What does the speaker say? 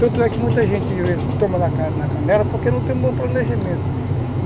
Tanto é que muita gente de vez toma na na canela porque não tem um bom planejamento.